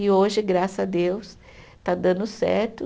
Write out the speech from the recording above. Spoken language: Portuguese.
E hoje, graças a Deus, está dando certo.